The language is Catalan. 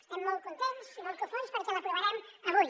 estem molt contents i molt cofois perquè l’aprovarem avui